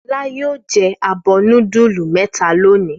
Fọlá yóò jẹ abọ́ núdúlù mẹ́ta lónìí.